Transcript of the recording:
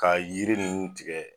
Ka yiri ninnu tigɛ